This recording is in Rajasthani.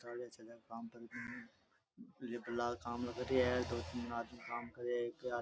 चाले छते का काम पर की दो तीन आदमी काम करैया है एके --